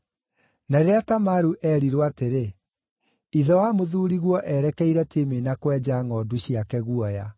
Na rĩrĩa Tamaru eerirwo atĩrĩ, “Ithe wa mũthuuriguo erekeire Timina kwenja ngʼondu ciake guoya,”